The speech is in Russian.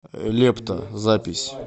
лепта запись